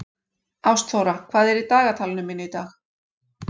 Ástþóra, hvað er í dagatalinu mínu í dag?